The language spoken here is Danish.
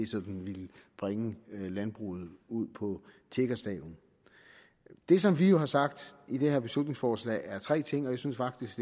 sådan ville bringe landbruget ud på tiggerstadiet det som vi jo har sagt i det her beslutningsforslag er tre ting og jeg synes faktisk